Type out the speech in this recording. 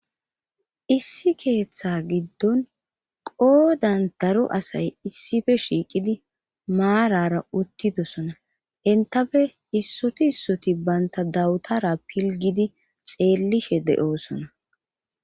issi keeththa giddon qoodan daro asay issife shiiqidi maarara uttidosona entafe issoti issoti baynta dawutara pilgidi xeellishe de7oosona